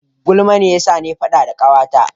Gulma ne ya sa na yi faɗa da Ƙawata